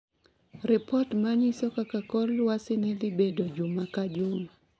Ripot ma nyiso kaka kor lwasi ne dhi bedo juma ka juma